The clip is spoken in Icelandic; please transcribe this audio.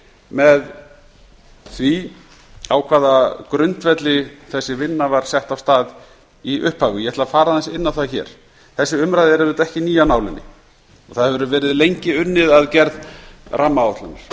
með því á hvaða grundvelli þessi vinna var sett á stað í upphafi ég ætla að fara aðeins inn á það hér þessi umræða er auðvitað ekki ný af nálinni það hefur verið lengi unnið að gerð rammaáætlunar